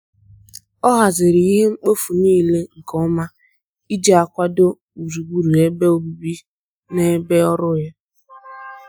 anyi adighi nkwado mana ohere ọbula ịjị kwalite ohere ịmụ akwụkwọ dị mkpa